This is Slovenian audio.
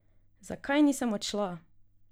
Zakaj nisem odšla?